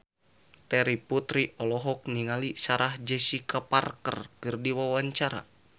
Terry Putri olohok ningali Sarah Jessica Parker keur diwawancara